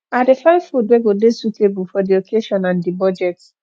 i dey find food wey go dey suitable for di occasion and di budget